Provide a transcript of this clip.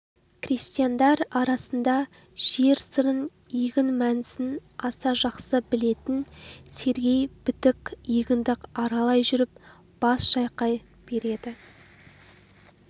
крестьяндар арасында жер сырын егін мәнісін аса жақсы білетін сергей бітік егінді аралай жүріп бас шайқай береді